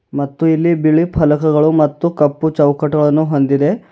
ಮತ್ತು ಇಲ್ಲಿ ಬಿಳಿ ಫಲಕಗಳು ಮತ್ತು ಕಪ್ಪು ಚೌಕಟಗಳನ್ನು ಹೊಂದಿದೆ.